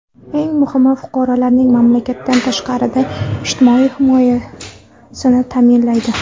Eng muhimi, fuqarolarning mamlakatdan tashqarida ijtimoiy himoyasini ta’minlaydi.